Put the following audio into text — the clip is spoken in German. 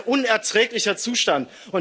Das ist ein unerträglicher Zustand.